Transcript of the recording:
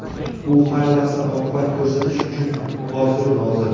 u har lahza "oqibat" ko‘rsatish uchun hoziru nozir.